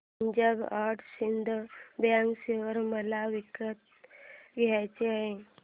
Punjab and Sindh bank share मला विकत घ्यायचे आहेत